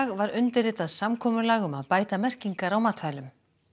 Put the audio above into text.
var undirritað samkomulag um að bæta merkingar á matvælum